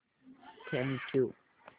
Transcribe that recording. thank you